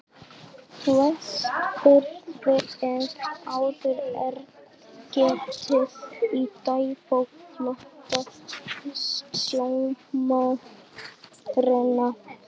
Vestfirði en áður er getið í dagbók flotastjórnarinnar